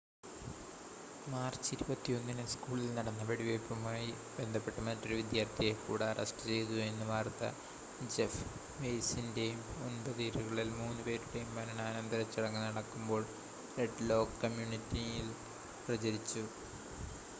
March 21-ന് സ്കൂളിൽ നടന്ന വെടിവെയ്പ്പുമായി ബന്ധപ്പെട്ട് മറ്റൊരു വിദ്യാർത്ഥിയെ കൂടി അറസ്റ്റ് ചെയ്തു എന്ന വാർത്ത ജെഫ് വെയ്സിൻ്റെയും ഒൻപത് ഇരകളിൽ മൂന്ന് പേരുടെയും മരണാനന്തര ചടങ്ങ് നടക്കുമ്പോൾ റെഡ് ലേക് കമ്മ്യൂണിറ്റിയിൽ പ്രചരിച്ചു